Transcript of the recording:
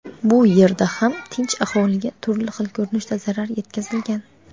Bu yerda ham tinch aholiga turli xil ko‘rinishda zarar yetkazilgan.